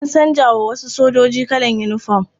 An canza wa wasu sojoji kalan yinifom.